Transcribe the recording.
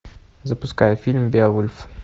запускай фильм беовульф